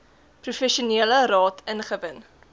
professionele raad ingewin